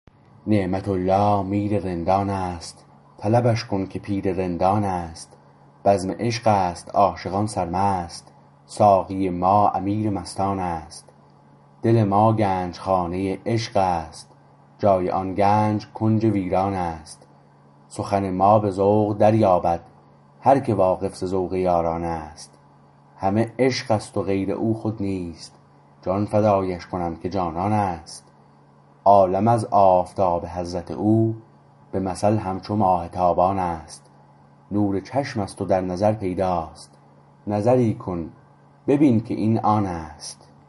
نعمت الله میر رندان است طلبش کن که پیر رندان است بزم عشق است عاشقان سرمست ساقی ما امیر مستان است دل ما گنجخانه عشق است جای آن گنج کنج ویران است سخن ما به ذوق دریابد هرکه واقف ز ذوق یاران است همه عشق است غیر او خود نیست جان فدایش کنم که جانان است عالم از آفتاب حضرت او به مثل همچو ماه تابان است نور چشم است و در نظر پیداست نظری کن ببین که این آن است